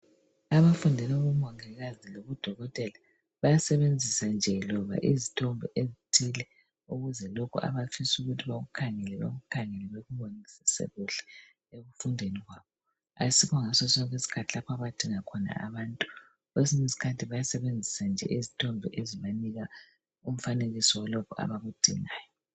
Abafundela ubumongikazi lobudokotela bayasebenzisa nje loba izithombe ezithile ukuze lokho abafisa ukuthi bakukhangele, bakukhangele bakubonisise kuhle ekufundeni kwabo. Ayisiso ngasosonke isikhathi lapho abadinga khona abantu. Kwesinye isikhathi bayasebenzisa nje izithombe ezibanika umfanekiso walokho abakudingayo.